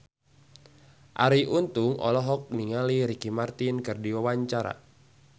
Arie Untung olohok ningali Ricky Martin keur diwawancara